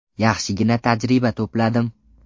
Yaxshigina tajriba to‘pladim.